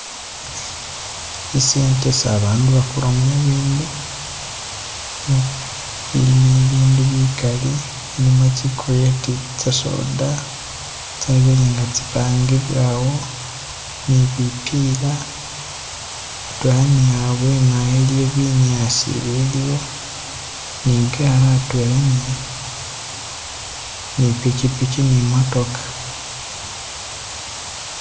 I centre esi abantu bagulamo ibindu ilimo ibindu bikaali, ilimo tsikurate tsa soda tsabele nga tsipangibwa awo nibipiila hatwela ni habwene awo haliwo binyaasi ibiliwo ni gaali hatwela ni pichipichi ni imootoka